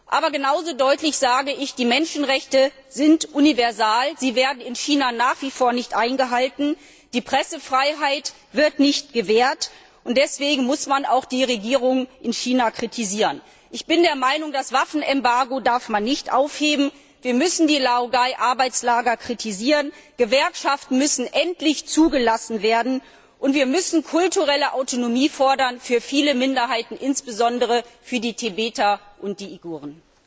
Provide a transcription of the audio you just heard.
Aber genau so deutlich sage ich Die Menschenrechte sind universal, sie werden in China nach wie vor nicht eingehalten, die Pressefreiheit wird nicht gewährt, und deswegen muss man auch die Regierung in China kritisieren. Ich bin der Meinung, das Waffenembargo darf man nicht aufheben, wir müssen die Laogai Arbeitslager kritisieren, Gewerkschaften müssen endlich zugelassen werden, und wir müssen kulturelle Autonomie fordern für viele Minderheiten, insbesondere für die Tibeter und die Uiguren.